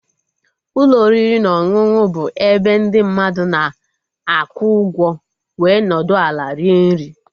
Ụlọ oriri na ọṅụṅụ bụ ebe ndị mmadụ na-akwụ ụgwọ wee nọdụ ala rie nri